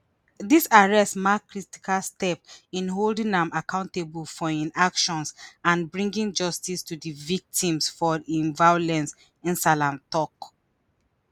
dis arrest mark critical step in holding am accountable for im actions and bringing justice to di victims for im violence nsahlai tok